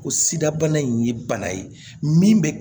Ko sida bana in ye bana ye min bɛ